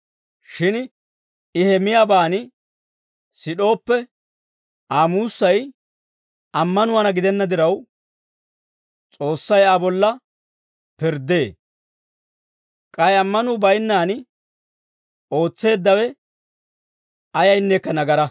Shin I he miyaabaan sid'ooppe, Aa muussay ammanuwaana gidenna diraw, S'oossay Aa bolla pirddee; k'ay ammanuu baynnaan ootseeddawe ayayneekka nagaraa.